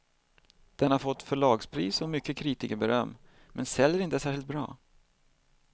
Den har fått förlagspris och mycket kritikerberöm, men säljer inte särskilt bra.